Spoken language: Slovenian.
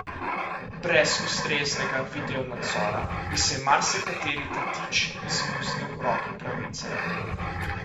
Brez ustreznega videonadzora bi se marsikateri tatič izmuznil roki pravice.